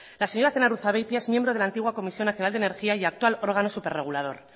la señora zenarruzabeitia es miembro de la antigua comisión nacional de energía y actual órgano superregulador